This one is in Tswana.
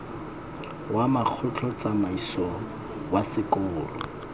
wa mokgatlho tsamaiso wa sekolo